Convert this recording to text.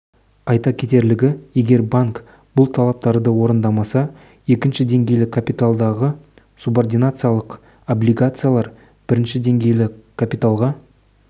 айта кетерлігі егер банк бұл талаптарды орындамаса екінші деңгейлі капиталдағы субординациялық облигациялар бірінші деңгейлі капиталға